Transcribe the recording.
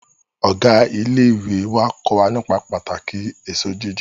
Ọ̀gá ilé ìwé wá kó wa nípa pàtàkì èso jíjẹ